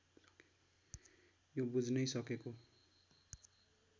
यो बुझ्नै सकेको